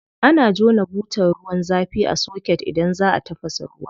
Ana jona butar ruwan zafi a soket idan za a tafasa ruwa.